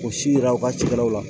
K'u si yira u ka cikɛlaw la